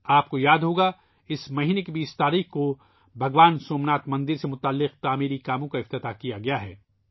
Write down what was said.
آپ کو یاد ہوگا ، اس مہینے کی 20 تاریخ کو بھگوان سومناتھ مندر سے جڑے تعمیراتی کاموں کی نقاب کشائی کی گئی ہے